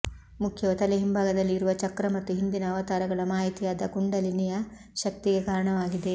ಮುಖ್ಯವು ತಲೆ ಹಿಂಭಾಗದಲ್ಲಿ ಇರುವ ಚಕ್ರ ಮತ್ತು ಹಿಂದಿನ ಅವತಾರಗಳ ಮಾಹಿತಿಯಾದ ಕುಂಡಲಿನಿಯ ಶಕ್ತಿಗೆ ಕಾರಣವಾಗಿದೆ